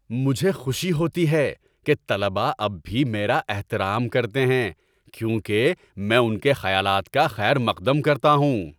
مجھے خوشی ہوتی ہے کہ طلبہ اب بھی میرا احترام کرتے ہیں کیونکہ میں ان کے خیالات کا خیر مقدم کرتا ہوں۔